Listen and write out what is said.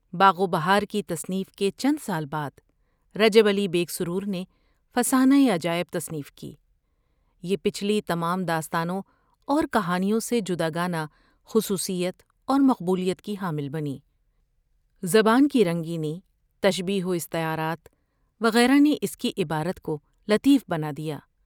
باغ و بہار کی تصنیف کے چند سال بعد رجب علی بیگ سرور نے''فسانہ عجائب '' تصنیف کی یہ پچھلی تمام داستانوں اور کہانیوں سے جدا گانہ خصوصیت اور مقبولیت کی حامل بنی۔ زبان کی رنگینی تشبیہ واستعارات وغیرہ نے اس کی عبارت کو لطیف بنا دیا ۔